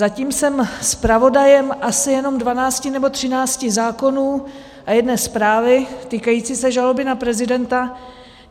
Zatím jsem zpravodajem asi jenom dvanácti nebo třinácti zákonů a jedné zprávy týkající se žaloby na prezidenta.